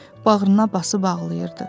bağrına basıb ağlayırdı.